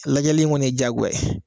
Lajɛli in kɔni ye diyagoya ye.